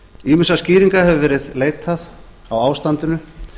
ýmissa skýringa hefur verið leitað á ástandinu